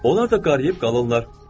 Onlar da qarıyıb qalırlar.